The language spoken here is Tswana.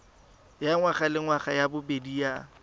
ya ngwagalengwaga ya bobedi ya